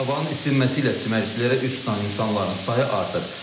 Havanın isinməsi ilə çimərliklərə üz tutan insanların sayı artır.